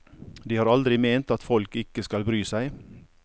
De har aldri ment at folk ikke skal bry seg.